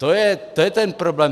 To je ten problém.